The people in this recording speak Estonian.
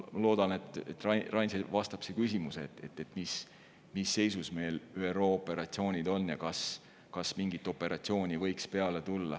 Ma loodan, Rain, et see vastab sinu küsimusele, mis seisus meil ÜRO operatsioonid on ja kas mingit operatsiooni võiks peale tulla.